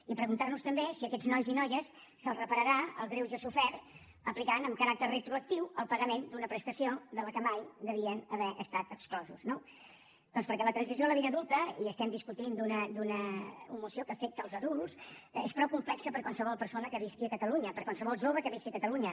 i preguntar nos també si a aquests nois i noies se’ls repararà el greuge sofert aplicant amb caràcter retroactiu el pagament d’una prestació de què mai haurien d’haver estat exclosos no doncs perquè la transició a la vida adulta i estem discutint d’una moció que afecta els adults és prou complexa per a qualsevol persona que visqui a catalunya per a qualsevol jove que visqui a catalunya